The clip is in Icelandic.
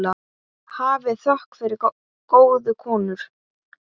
Hafið þökk fyrir góðu konur.